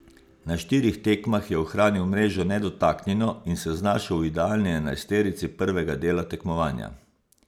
Na štirih tekmah je ohranil mrežo nedotaknjeno in se znašel v idealni enajsterici prvega dela tekmovanja.